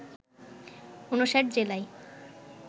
৫৯ জেলায়